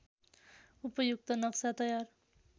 उपयुक्त नक्सा तयार